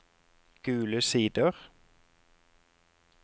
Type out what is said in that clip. Gule Sider